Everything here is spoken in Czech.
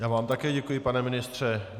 Já vám také děkuji, pane ministře.